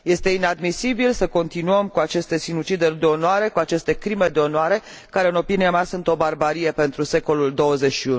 Este inadmisibil să continuăm cu aceste sinucideri de onoare, cu aceste crime de onoare, care în opinia mea sunt o barbarie pentru secolul XXI.